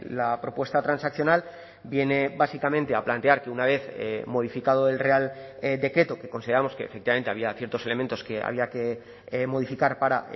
la propuesta transaccional viene básicamente a plantear que una vez modificado el real decreto que consideramos que efectivamente había ciertos elementos que había que modificar para